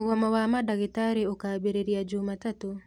Mũgomo wa mandagĩtarĩ ũkambĩrĩria jumatatũ